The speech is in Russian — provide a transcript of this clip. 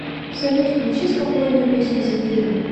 салют включи спокойную песню земфиры